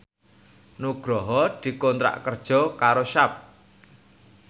Nugroho dikontrak kerja karo Sharp